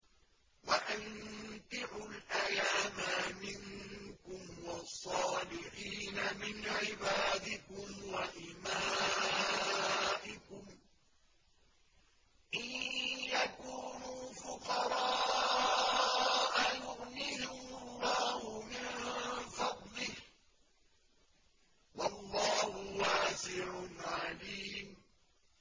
وَأَنكِحُوا الْأَيَامَىٰ مِنكُمْ وَالصَّالِحِينَ مِنْ عِبَادِكُمْ وَإِمَائِكُمْ ۚ إِن يَكُونُوا فُقَرَاءَ يُغْنِهِمُ اللَّهُ مِن فَضْلِهِ ۗ وَاللَّهُ وَاسِعٌ عَلِيمٌ